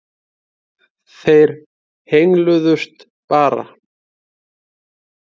Þeir hengsluðust bara.